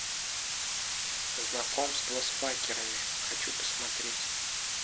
знакомство с факерами хочу посмотреть